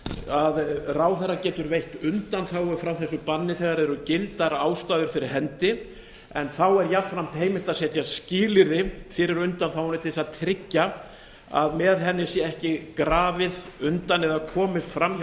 að ráðherra getur veitt undanþágur frá þessu banni þegar eru gildar ástæður fyrir hendi en þá er jafnframt heimilt að setja skilyrði fyrir undanþágunni til að tryggja að með henni sé ekki grafið undan eða komist fram hjá